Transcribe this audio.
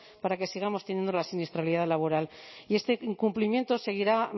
para que sigamos teniendo la siniestralidad laboral y este incumplimiento seguirá